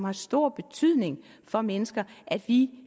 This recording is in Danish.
af stor betydning for mennesker at vi